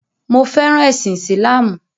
Mo fẹràn ẹ̀sìn ìsìláàmù.